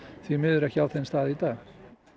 því miður ekki á þeim stað í dag